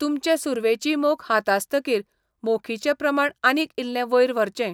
तुमचें सुरवेची मोख हातासतकीर, मोखीचें प्रमाण आनीक इल्लें वयर व्हरचें.